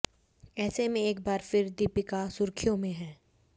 ऐसे में एक बार फिर दीपिका सुर्खियों में हैं